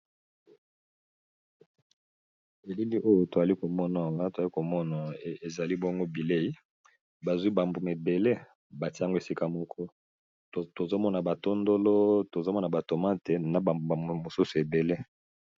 elili oyo toali komonaa toali komona ezali bongo bilei bazwi bambuma ebele batiango esika moko tozomona batondolo tozomona batoma te na bambumambume mosusu ebele